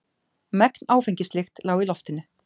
Megn áfengislykt lá í loftinu.